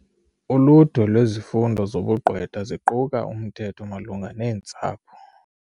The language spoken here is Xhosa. Uludwe lwezifundo zobugqwetha ziquka umthetho malunga neentsapho.